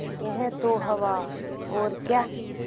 यह तो हवा और क्या